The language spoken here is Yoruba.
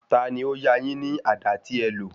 Tani ó yá a yín ní àdá tí ẹ lò?